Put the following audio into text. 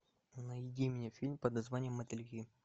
найди мне фильм под названием мотыльки